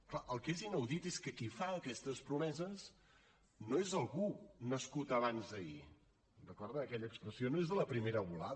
clar el que és inaudit és que qui fa aquestes promeses no és algú nascut abans d’ahir recorden aquella expressió no és de la primera volada